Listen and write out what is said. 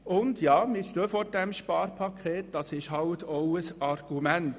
Und ja, wir stehen vor dem Sparpaket, das ist auch ein Argument.